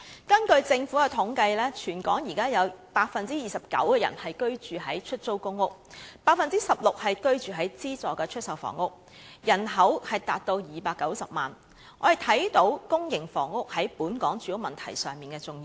根據政府的統計，全港有 29% 的人居於出租公屋 ，16% 居於資助出售房屋，人口達290萬，可見公營房屋在本港住屋問題上的重要性。